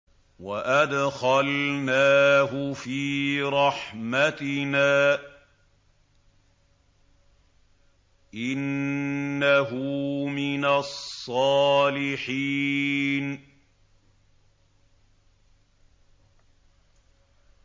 وَأَدْخَلْنَاهُ فِي رَحْمَتِنَا ۖ إِنَّهُ مِنَ الصَّالِحِينَ